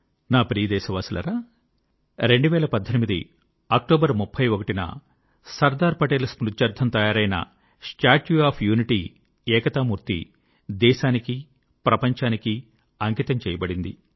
నా ప్రియ దేశవాసులారా 31 అక్టోబర్ 2018 న సర్దార్ పటేల్ స్మృత్యర్థం తయారైన స్టాట్యూ ఆఫ్ యూనిటీ ఏకతామూర్తి దేశానికీ ప్రపంచానికీ అంకితం చేయబడింది